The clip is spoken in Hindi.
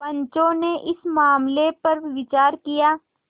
पंचो ने इस मामले पर विचार किया